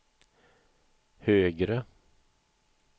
högre